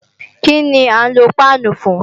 Kíni à ń lo páánù fún?